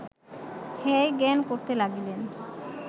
হেয় জ্ঞান করিতে লাগিলেন